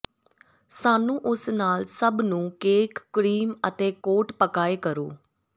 ਸਾਨੂੰ ਉਸ ਨਾਲ ਸਭ ਨੂੰ ਕੇਕ ਕਰੀਮ ਅਤੇ ਕੋਟ ਪਕਾਏ ਕਰੋ